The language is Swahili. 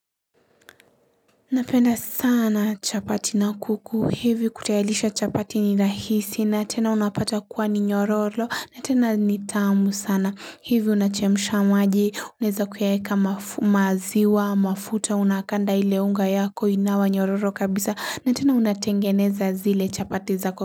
Napenda sana chapati na kuku. Hivi kutayarisha chapati ni rahisi na tena unapata kuwa ni nyororo na tena ni tamu sana. Hivi unachemisha maji unaweza kuyaweka maziwa mafuta unakanda ile unga yako inawa nyororo kabisa na tena unatengeneza zile chapati za kuku.